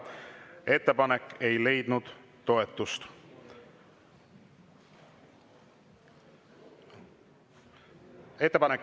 Ettepanek ei leidnud toetust.